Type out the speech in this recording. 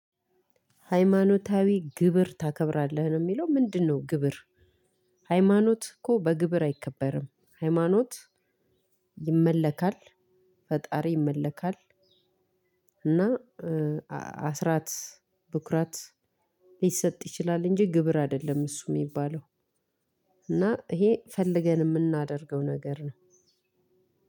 ሃይማኖታዊ ግብር ታከብራለህ ነው የሚለው ምንድነው? ግብር ሐይማኖትኮ በግብር አይከበርም ሐይማኖት ይመለካል ፈጣሪ ይመለካል። እና አስራት ብኩራት ሊሰጥ ይችላል እንጂ ግብር አይደለም። እሱ እሚባለው። እና ይሄ ፈልገን የምናደርገው ነገር ነው።